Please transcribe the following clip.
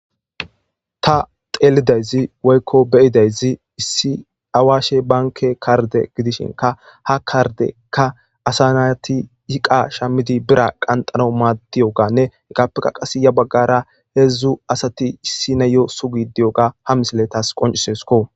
ta xelidayzi woykko beyidayzi issi awaashe banke karde gidishinka ha kardekka asanati hiqa shammidi bira qanxano maaddiyoganne egappeka qase ya baggara heedzdzu asati issi nayo sugi diyoga ha misile tas qoncisesko